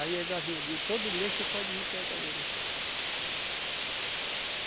Aí ela vinha eu digo, todo mês tu pode vir pegar o ouro aqui.